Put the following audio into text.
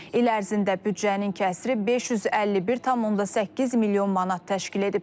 İl ərzində büdcənin kəsri 551,8 milyon manat təşkil edib.